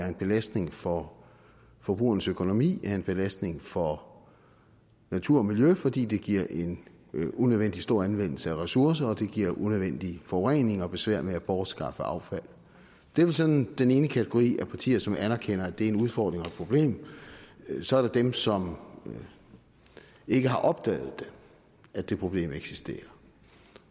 en belastning for forbrugernes økonomi er en belastning for natur og miljø fordi det giver en unødvendig stor anvendelse af ressourcer og det giver unødvendig forurening og besvær med at bortskaffe affald det er vel sådan den ene kategori af partier som anerkender at det er en udfordring og et problem så er der dem som ikke har opdaget at det problem eksisterer